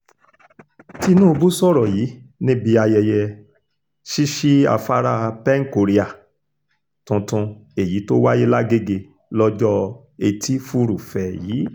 tinubu sọ̀rọ̀ yìí níbi ayẹyẹ ṣíṣí afárá pen-korea tuntun èyí tó wáyé làgègè lọ́jọ́ etí furuufee yìí